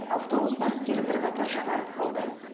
автобус парктері бірқатар жаңарып қалды